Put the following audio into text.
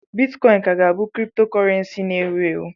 Bitcọịn ka ga-abụ criptocọrensii na ewu ewu.